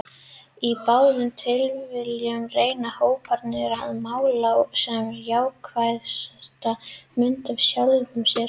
Í báðum tilvikum reyna hóparnir að mála sem jákvæðasta mynd af sjálfum sér.